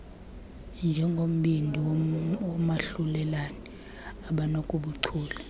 njengombindi woomahlulelane abanobuchule